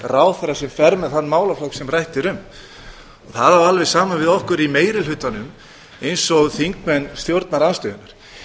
ráðherra sem fer með þann málaflokk sem rætt er um það á alveg sama við um okkur í meiri hlutanum eins og þingmenn stjórnarandstöðunnar